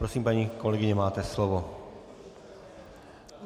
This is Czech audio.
Prosím, paní kolegyně, máte slovo.